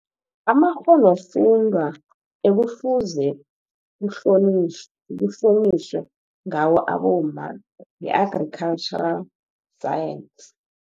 Amakghonofundwa, ekufuze kuhlonyitjhwe ngawo abomma, yi-agricultural science.